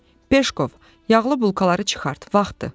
Peşkov, yağlı bulkaları çıxart, vaxtdır.